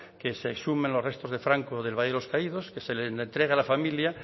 que se exhumen los restos de franco del valle de los caídos que se le entregue a la familia